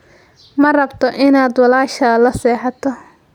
Ma rabto inaad walaashaa la seexato.